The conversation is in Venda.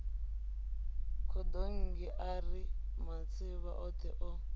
khadonngi ari matsivha othe o